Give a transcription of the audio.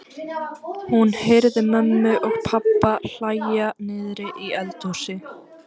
Hún heyrði mömmu og pabba hlæja niðri í eldhúsi.